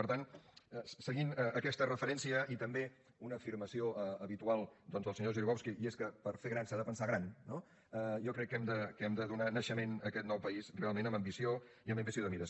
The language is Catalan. per tant seguint aquesta referència i també una afirmació habitual doncs del senyor grzybowski i és que per fer gran s’ha de pensar gran no jo crec que hem de donar naixement a aquest nou país realment amb ambició i amb ambició de mires